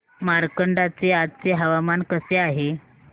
मार्कंडा चे आजचे हवामान कसे आहे